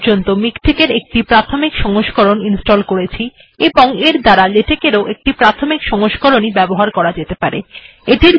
আমরা এখনো পর্যন্ত মিকটেক্ এর প্রাথমিক সংস্করণ ইনস্টল্ করেছি এবং এর দ্বারা লেটেক্ এর ও একটি প্রাথমিক সংস্করণ ই ব্যবহার করা যেতে পারে